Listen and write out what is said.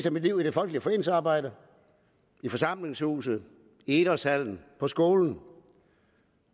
af mit liv i det folkelige foreningsarbejde i forsamlingshuse i idrætshaller på skoler